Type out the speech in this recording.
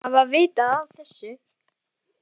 Sigga hlýtur að hafa vitað af þessu.